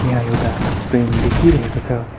यहाँ एउटा ट्रेन देखिरहेको छ।